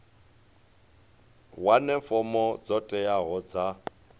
wane fomo dzo teaho dza